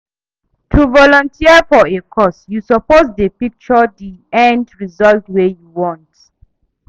To volunteer for a cause you suppose de picture di end result wey you want